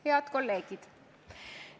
Head kolleegid!